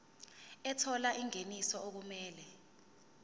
ethola ingeniso okumele